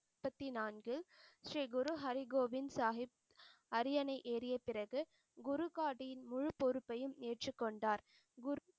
பத்தி நான்கு, ஸ்ரீ குரு ஹரிகோவிந்த் சாஹிப் அரியணை ஏறியப்பிறகு குருகாடின் முழு பொறுப்பையும் ஏற்றுக்கொண்டார். குரு